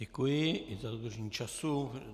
Děkuji za dodržení času.